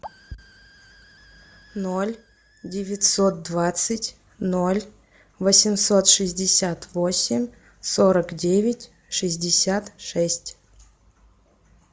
ноль девятьсот двадцать ноль восемьсот шестьдесят восемь сорок девять шестьдесят шесть